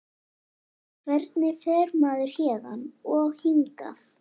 Hvernig fer maður héðan. og hingað??